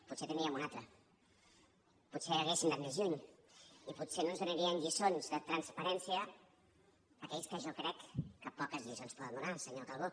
potser en tindríem una altra potser hauríem anat més lluny i potser no ens donarien lliçons de transparència aquells que jo crec que poques lliçons poden donar senyor calbó